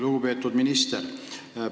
Lugupeetud minister!